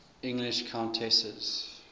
english countesses